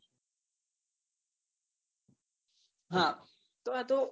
હા તો આ તો